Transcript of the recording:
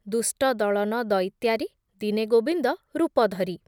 ଦୁଷ୍ଟ ଦଳନ ଦଇତ୍ୟାରି, ଦିନେ ଗୋବିନ୍ଦ ରୂପ ଧରି